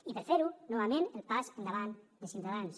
i per a fer ho novament el pas endavant de ciutadans